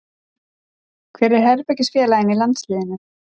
Hver er herbergisfélaginn í landsliðinu?